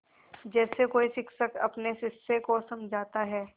जैसे कोई शिक्षक अपने शिष्य को समझाता है